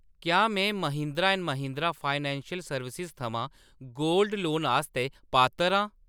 क्या में Mahindra and Mahindra financial services थमां गोल्ड लोन आस्तै पात्तर आं ?